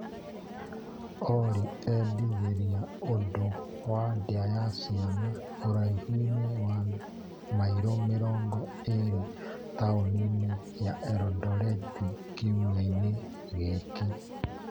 Olĩ endithĩrĩria ũndũ w ndĩa ya ciana ũraihu-inĩ wa mairo mĩrongo ĩrĩ taũni-inĩ ya elondoreti kiumia gĩkĩ .